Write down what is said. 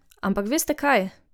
Ampak veste kaj?